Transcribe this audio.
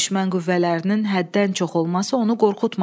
Düşmən qüvvələrinin həddən çox olması onu qorxutmadı.